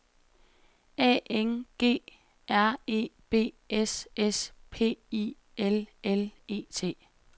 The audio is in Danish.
A N G R E B S S P I L L E T